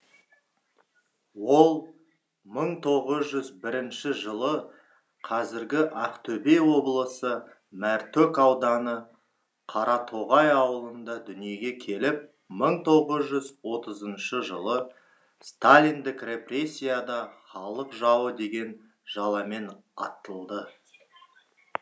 ол мың тоғыз жүз бірінші жылы қазіргі ақтөбе облысы мәртөк ауданы қаратоғай ауылында дүниеге келіп мың тоғыз жүз отызыншы жылы сталиндік репресияда халық жауы деген жаламен аттылды